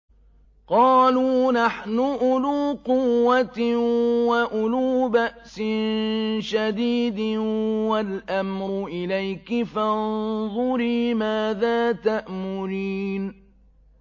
قَالُوا نَحْنُ أُولُو قُوَّةٍ وَأُولُو بَأْسٍ شَدِيدٍ وَالْأَمْرُ إِلَيْكِ فَانظُرِي مَاذَا تَأْمُرِينَ